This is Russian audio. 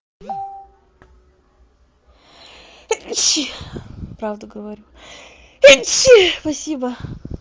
правду говорю спасибо